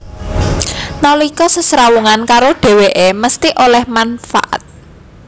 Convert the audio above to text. Nalika sesrawungan karo dhèwèké mesthi oleh manfaat